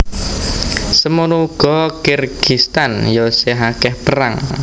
Semono ugo Kirgistan yo sih akeh perang